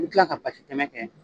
I bɛ kila ka basi tɛmɛ kɛ